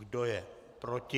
Kdo je proti?